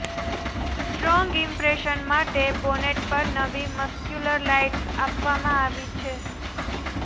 strong impression માટે bonnet પર નવી મસ્ક્યુલર લાઈન્સ આપવામાં આવી છે